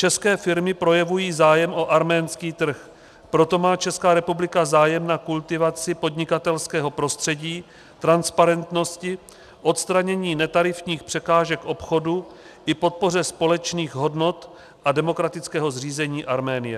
České firmy projevují zájem o arménský trh, proto má Česká republika zájem na kultivaci podnikatelského prostředí, transparentnosti, odstranění netarifních překážek obchodu i podpoře společných hodnot a demokratického zřízení Arménie.